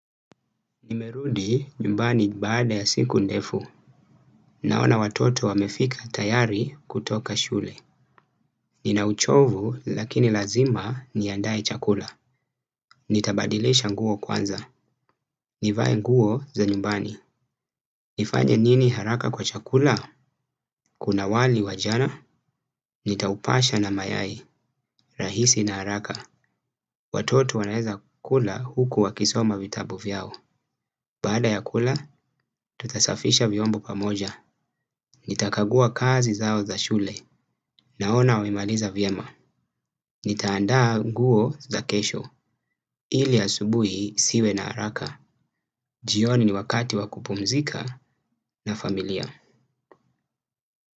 Nimerudi nyumbani baada ya siku ndefu. Naona watoto wamefika tayari kutoka shule. Nina uchovu lakini lazima niandae chakula. Nitabadilisha nguo kwanza. Nivae nguo za nyumbani. Nifanye nini haraka kwa chakula. Kuna wali wa jana. Nitaupasha na mayai rahisi na haraka. Watoto wanaweza kula huku wakisoma vitabu vyao. Baada ya kula tutasafisha viombo pamoja. Nitakagua kazi zao za shule naona wamemaliza vyema. Nita andaa nguo za kesho ili asubuhi siwe na haraka. Jioni ni wakati wa kupumzika na familia.